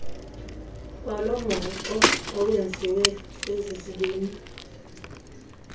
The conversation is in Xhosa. kwalomhoxo owenziwe zezizibini